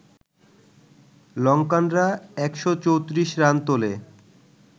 লঙ্কানরা ১৩৪ run তোলে